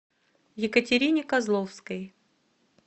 екатерине козловской